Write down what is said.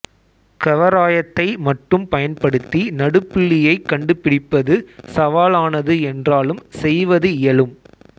கவராயத்தை மட்டும் பயன்படுத்தி நடுப்புள்ளியைக் கண்டுபிடிப்பது சவாலானது என்றாலும் செய்வது இயலும்